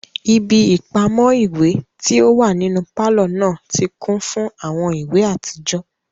Ibi ipamọ iwe ti o wa ninu palọ naa ti kun fun awọn iwe atijọ